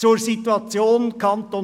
Zur Situation im Kanton